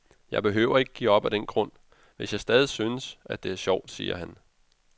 Jeg behøver ikke at give op af den grund, hvis jeg stadig synes, at det er sjovt, siger han.